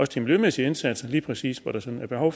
de miljømæssige indsatser lige præcis hvor der sådan er behov